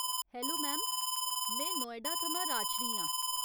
Hello ma'am, में नोएडा थमां राजश्री आं।